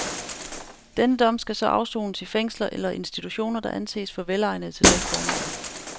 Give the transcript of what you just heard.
Denne dom skal så afsones i fængsler eller institutioner, der anses for velegnede til dette formål.